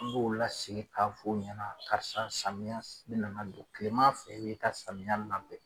N b'o lasigi k'a f'ɔ ɲɛna karisa samiya s bɛ nana don, tilema fɛ i b'i ka samiya labɛn.